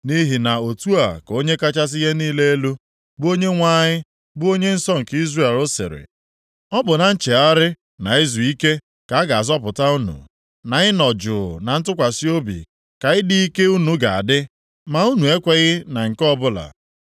Nʼihi na otu a ka Onye kachasị ihe niile elu, bụ Onyenwe anyị bụ Onye nsọ nke Izrel sịrị, “Ọ bụ na nchegharị na izuike ka a ga-azọpụta unu, na ịnọ juu na ntụkwasị obi ka ịdị ike unu ga-adị, ma unu ekweghị na nke ọbụla.